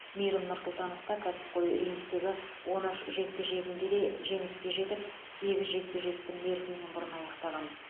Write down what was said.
мейірім нұрсұлтановта кәсіпқой рингтегі он үш жекпе жегінде де жеңіске жетіп сегіз жекпе жекті мерзімнен бұрын аяқтаған